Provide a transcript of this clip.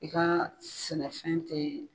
I ka sɛnɛfɛn tɛ ye.